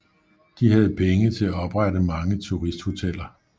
De havde penge til at oprette mange turisthoteller